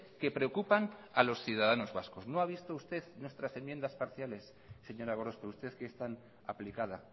que preocupan a los ciudadanos vascos no ha visto usted nuestras enmiendas parciales señora gorospe usted que es tan aplicada